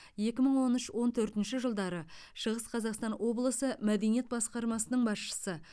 екі мың он үш он төртінші жылдары шығыс қазақстан облысы мәдениет басқармасының басшысы